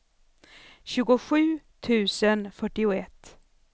tjugosju tusen fyrtioett